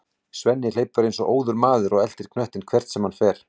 Svenni hleypur eins og óður maður og eltir knöttinn hvert sem hann fer.